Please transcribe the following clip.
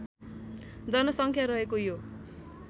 जनसङ्ख्या रहेको यो